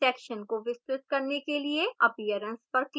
section को विस्तृत करने के लिए appearance पर click करें